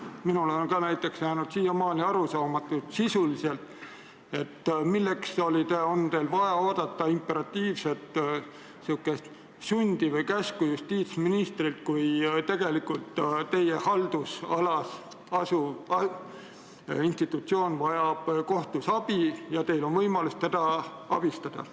Minule on ka näiteks jäänud siiamaani sisuliselt arusaamatuks, milleks on teil olnud vaja oodata imperatiivset sundi või käsku justiitsministrilt, kui teie haldusalas asuv institutsioon vajab kohtus abi ja teil on võimalus teda abistada.